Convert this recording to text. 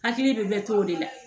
Hakili bɛ bɛɛ t'o de la